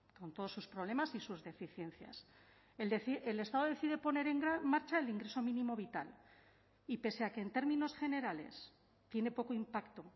con todos sus problemas y sus deficiencias el estado decide poner en marcha el ingreso mínimo vital y pese a que en términos generales tiene poco impacto